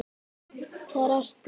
Hvar ertu?